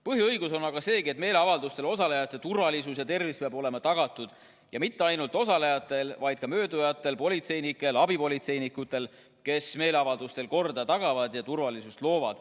Põhiõigus on aga seegi, et meeleavaldustel osalejate turvalisus ja tervis peab olema tagatud, ja mitte ainult osalejatele, vaid ka möödujatele, politseinikele, abipolitseinikele, kes meeleavaldustel korda tagavad ja turvalisust loovad.